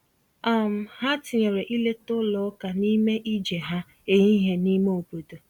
um Ha tinyere ileta ụlọ ụka n’ime ije ha ehihie n’ime obodo.